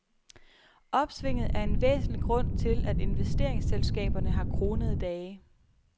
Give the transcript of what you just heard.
Opsvinget er en væsentlig grund til, at investeringsselskaberne har kronede dage.